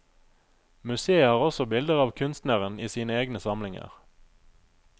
Museet har også bilder av kunstneren i sine egne samlinger.